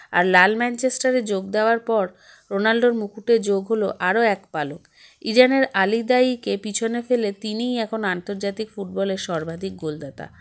আর লাল ম্যানচেস্টারে যোগ দাওয়ার পর রোনাল্ডোর মুকুটে যোগ হলো আরও এক পালক ইজানের আলিদায়ীকে পিছনে ফেলে তিনিই এখন আন্তর্জাতিক football -এর সর্বাধিক গোলদাতা